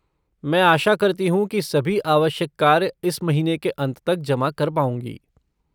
मैं आशा करती हूँ कि सभी आवश्यक कार्य इस महीने के अंत तक जमा कर पाऊँगी।